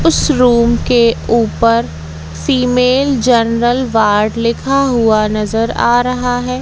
उस रूम के ऊपर फीमेल जनरल वार्ड लिखा हुआ नजर आ रहा है।